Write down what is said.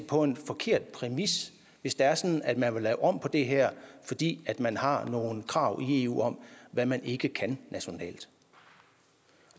på en forkert præmis hvis det er sådan at man vil lave om på det her fordi man har nogle krav i eu om hvad man ikke kan nationalt